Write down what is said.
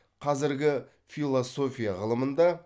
қазіргі философия ғылымында